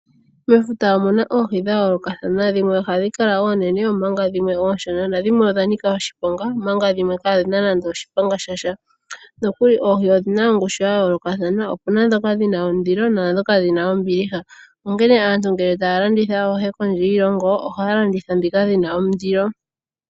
Mefuta omuna oohi dhayoloka thana dhimwe ohadhi kala oonene omanka dhimwe ooshona , na dhimwe odha nika oshiponga omanka dhimwe kadhina nando oshiponga shasha, nokuli oohi odhina oongushu yayoloka kathana opena dhoka dhina ondilo naadhoka dhina ombiliha onkene aantu ngele taya landitha aluhe kondje yiilongo ohaya landitha ndhika dhina ondilo.